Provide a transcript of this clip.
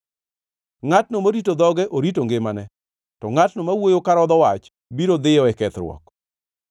Ngʼatno morito dhoge orito ngimane, to ngʼatno ma wuoyo karodho wach biro dhiyo e kethruok.